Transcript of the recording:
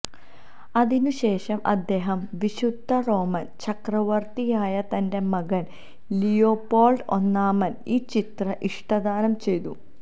അതിനുശേഷം അദ്ദേഹം വിശുദ്ധ റോമൻ ചക്രവർത്തിയായ തന്റെ മകൻ ലിയോപോൾഡ് ഒന്നാമന് ഈ ചിത്രം ഇഷ്ടദാനം ചെയ്തു